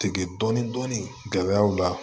Tigɛ dɔɔnin dɔɔnin gɛlɛya o la